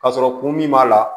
Ka sɔrɔ kun min b'a la